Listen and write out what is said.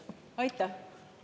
Aitäh!